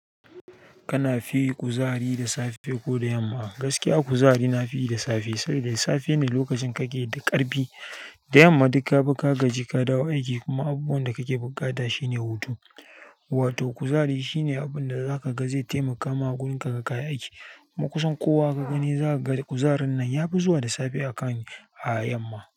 Kana fi kuzari da safe ko da yamma? Gaskiya kuzari na fi yi da safe, saboda da safe ne lokacin kake da ƙarfi. Da yamma duk ka bu ka gaji, ka dawo aiki kuma abubuwan da kake buƙata shine hutu. Wato kuzari shine abin da zaka ga zai taimaka ma gun ka kaga kayi aiki. Ma kusan kowa ka gani za ka da kuzarin nan ya fi zuwa da safe a kan a yamma.